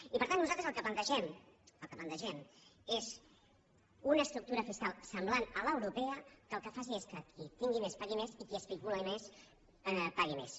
i per tant nosaltres el que plantegem el que plantegem és una estructura fiscal semblant a l’europea que el que faci és que qui tingui més pagui més i qui especuli més pagui més